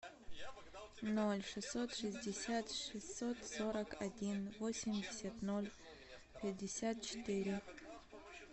ноль шестьсот шестьдесят шестьсот сорок один восемьдесят ноль пятьдесят четыре